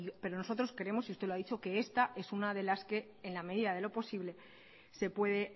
pero nosotros creemos y usted lo ha dicho que esta es una de las que en la medida de lo posible se puede